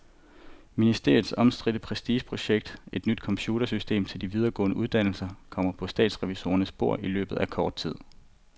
Ministeriets omstridte prestigeprojekt, et nyt computersystem til de videregående uddannelser, kommer på statsrevisorernes bord i løbet af kort tid.